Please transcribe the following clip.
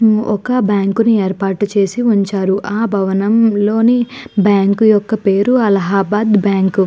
ఒక బ్యాంకు ని ఏర్పాటు చేసి ఉంచారు. ఆ భవనంలోని బ్యాంకు యొక్క పేరు అలహాబాద్ బ్యాంకు .